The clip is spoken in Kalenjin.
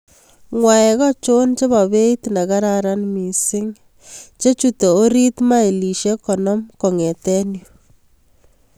Ng'waek achon chebo beit negararan mising che chute orit mailishek konom kong'eten yu